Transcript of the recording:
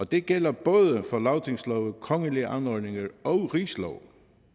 det gælder både for lagtingslove kongelige anordninger og rigslove